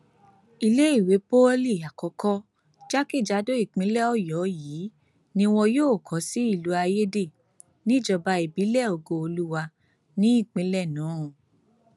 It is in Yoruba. iléèwé pọlì àkọkọ jákèjádò ìpínlẹ ọyọ yìí ni wọn yóò kó sí ìlú ayéde níjọba ìbílẹ ògooluwa ní ìpínlẹ náà